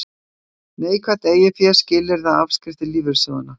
Neikvætt eiginfé skilyrði afskrifta lífeyrissjóðanna